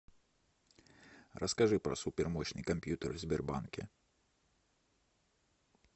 расскажи про супермощный компьютер в сбербанке